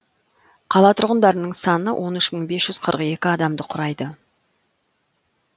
қала тұрғындарының саны он үш мың бес жүз қырық екі адамды құрайды